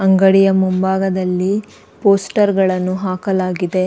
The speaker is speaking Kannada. ಅಂಗಡಿಯ ಮುಂಭಾಗದಲ್ಲಿ ಪೋಸ್ಟರ್ಗಳನ್ನು ಹಾಕಲಾಗಿದೆ.